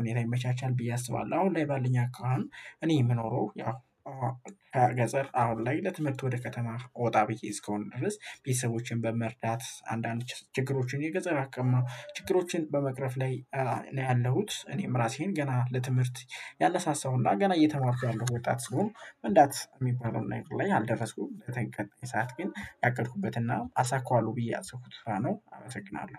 ሁኔታ ይመቻቻል ብዬ አስባለሁ አሁን ላይ ባልኝ አካሄድ እኔ የምኖረው ያው ገጸር አሁን ላይ ለትምህርት ወደ ከተማ ወጣ ብዬ እስከሆነ ድረስ ቤተሰቦችን በመርዳት አንዳንድ ችግሮችን የገጸር አቅማ ችግሮችን በመቅረፍ ላይ ያለሁት እኔም ራሴን ገና ለትምህርት ያነሳሳሁና ገና እየተማርኩ ያለሁ ወጣት ስሆን መንዳት የሚባለው ነገር ላይ አልደረስኩም በቀጣይ ሰዓት ግን ያቀድኩበትና አሳካዋለሁ ብዬ ያሰብኩት ስራ ነው አመሰግናለሁ።